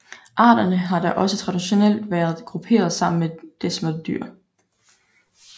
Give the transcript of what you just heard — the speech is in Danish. Arterne har da også traditionelt været grupperet sammen med desmerdyr